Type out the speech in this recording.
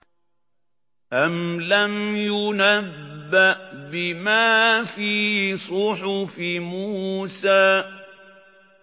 أَمْ لَمْ يُنَبَّأْ بِمَا فِي صُحُفِ مُوسَىٰ